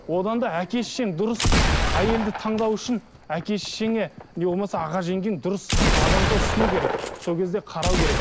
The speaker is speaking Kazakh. одан да әке шешең дұрыс әйелді таңдау үшін әке шешеңе не болмаса аға жеңгең дұрыс адамды ұсыну керек сол кезде қарау керек